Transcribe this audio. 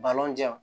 Balon jɛ